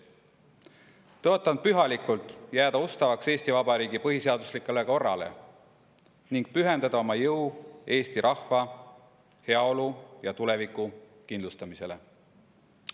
Tõotan pühalikult jääda ustavaks Eesti Vabariigi põhiseaduslikule korrale ning pühendada oma jõu eesti rahva heaolu ja tuleviku kindlustamisele.